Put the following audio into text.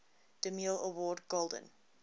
demille award golden